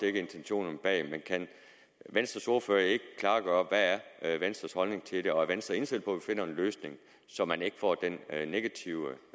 er intentionerne bag men kan venstres ordfører ikke klargøre hvad venstres holdning er til det og er venstre indstillet på at vi finder en løsning så man ikke får den negative